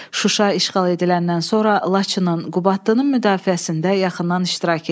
Şuşa işğal ediləndən sonra Laçının, Qubadlının müdafiəsində yaxından iştirak eləyir.